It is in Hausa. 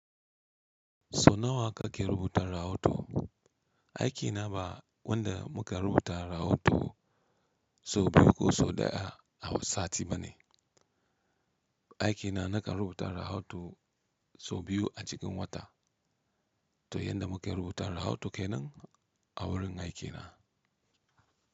So nawa kake rubuta rahoto? Aiki na ba wanda muka rubuta rahoto so biyu ko so ɗaya a sati ba ne. Aiki na nakan rubuta rahoto so biyu a cikin wata. To yanda muka rubuta rahoto kenan a wurin aiki na.